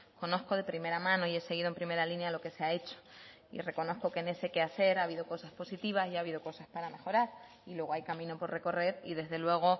conozco de primera mano y he seguido en primera línea lo que se ha hecho y reconozco que en ese quehacer ha habido cosas positivas y ha habido cosas para mejorar y luego hay camino por recorrer y desde luego